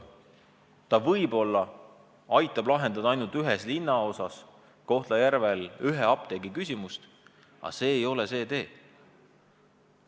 See võib-olla aitab lahendada ainult ühes Kohtla-Järve linnaosas ühe apteegiga seoses tekkinud küsimust, aga see ei ole see tee.